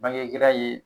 Bangegɛlɛya ye